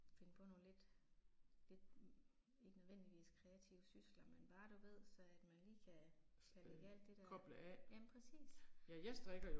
Finde på nogle lidt, lidt hm ikke nødvendigvis kreative sysler, men bare du ved så at man lige kan, kan lægge alt det der, jamen præcis